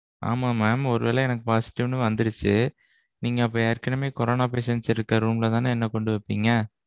ஆமாம் mam ஒருவேல எனக்கு positive னு வந்திருச்சு. நீங்க அப்ப ஏற்கனவே corona patients இருக்குற room ல தானே என்ன கொண்டு வைப்பீங்க?